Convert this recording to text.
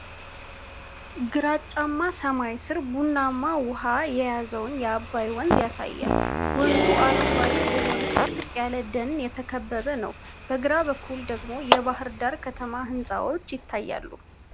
ግራጫማ ሰማይ ስር ቡናማ ውሃ የያዘውን የአባይ ወንዝ ያሳያል። ወንዙ አረንጓዴ በሆነ ጥቅጥቅ ያለ ደን የተከበበ ነው፣ በግራ በኩል ደግሞ የባህር ዳር ከተማ ሕንፃዎች ይታያሉ።